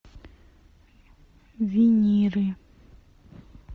виниры